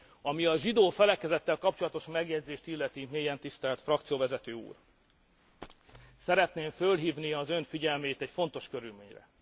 Ami a zsidó felekezettel kapcsolatos megjegyzést illeti, mélyen tisztelt frakcióvezető úr, szeretném fölhívni az Ön figyelmét egy fontos körülményre.